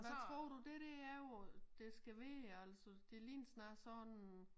Men tror du det dér er hvor det skal være altså det ligner snarere sådan